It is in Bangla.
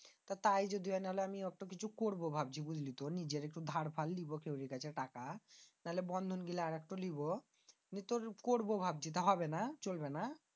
তাই যদি হয় নাইলে আমি একটা কিছু করবো ভাবছি। নিজে একটু দার পার নিবো ওদের কাছে টাকা না হলে বন্ধন দিবো জায়গা। আমিতো করবো ভাবছি তা তো হবেনা?